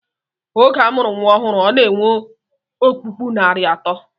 Oge a mụrụ nnwa ọhụrụ, ọ na-enwe ọkpụkpụ narị atọ